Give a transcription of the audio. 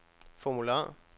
formular